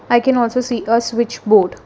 i can also see a switch board.